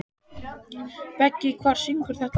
Beggi, hver syngur þetta lag?